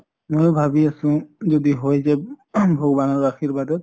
ময়ো ভাবি আছো যদি হৈ যায় ing ভগবানৰ আৰ্শীবাদত ।